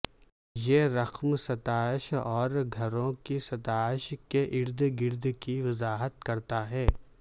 یہ رقم ستائش اور گھروں کی ستائش کے ارد گرد کی وضاحت کرتا ہے